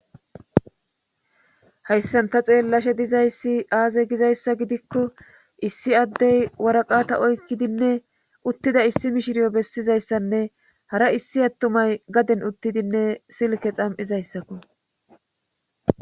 hayssanta xeellashe dizayssi aaze gizayssa gidikko issi addey waraqata oykkidinne uttida issi mishiriyo bessizayssanne hara issi attumay gaden uttidinne silke xam7izayssakko